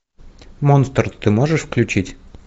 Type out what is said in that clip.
монстр ты можешь включить